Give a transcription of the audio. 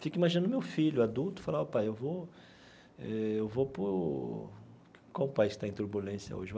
Fico imaginando o meu filho, adulto, e falar, ó pai eu vou eh eu vou para o...qual o país que está em turbulência hoje?